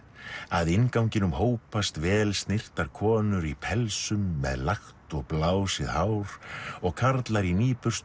að innganginum hópast vel snyrtar konur í með lagt og blásið hár og karlar í